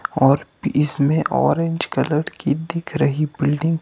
और इसमें orange colour की दिख रही बिल्डिंग --